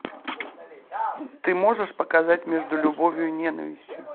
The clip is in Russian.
ты можешь показать между любовью и ненавистью